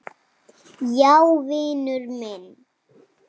Já, vinur minn.